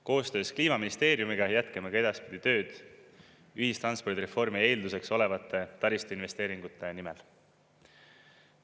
Koostöös Kliimaministeeriumiga jätkame ka edaspidi tööd ühistranspordireformi eelduseks olevate taristuinvesteeringute nimel.